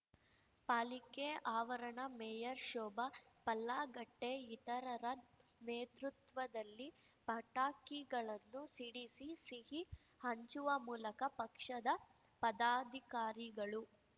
ಪಾಲಿಕೆ ಆವರಣ ಮೇಯರ್ ಶೋಭಾ ಪಲ್ಲಾಗಟ್ಟೆಇತರರ ನೇತೃತ್ವದಲ್ಲಿ ಪಟಾಕಿಗಳನ್ನು ಸಿಡಿಸಿ ಸಿಹಿ ಹಂಚುವ ಮೂಲಕ ಪಕ್ಷದ ಪದಾಧಿಕಾರಿಗಳು